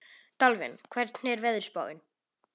Dalvin, hvernig er veðurspáin?